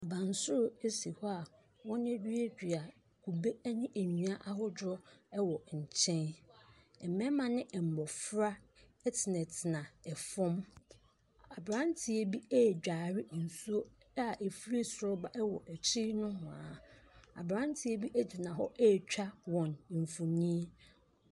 Abansoro si hɔ a wɔaduadua kube ne nnua ahodoɔ wɔ nkyɛn. Mmarima ne mmɔfra tenatena fam. Aberanteɛ bi redware nsuo a ɛfiri siri ba wɔ akyiri nohoa. Aberanteɛ bi gyina hɔ retwa wɔn mfonin.